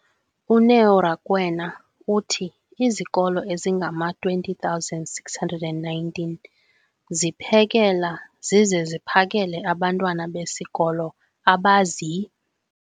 uNeo Rakwena, uthi izikolo ezingama-20 619 ziphekela zize ziphakele abantwana besikolo abazi-